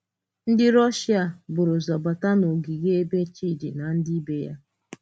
Ndị Rọ̀shịa bùrụ ụzọ bàta n’ògìge ebe Chídi na ndị ìbé ya nọ.